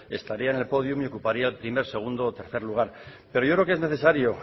estarían en el pódium y ocuparía el primer segundo o tercer lugar pero yo creo que es necesario